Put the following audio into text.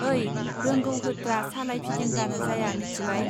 ओइ रोंगौ होत्रा सालाय फिदिंब्लानो जाया मिथिबाय